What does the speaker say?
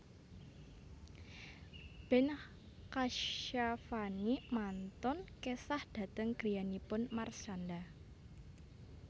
Ben Kasyafani mantun kesah dhateng griyanipun Marshanda